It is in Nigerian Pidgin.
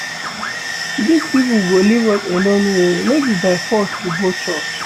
Dis people go leave us alone oo no be by force to go church